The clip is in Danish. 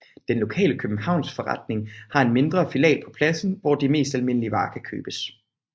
Den lokale købmandsforretning har en mindre filial på pladsen hvor de mest almindelige varer kan købes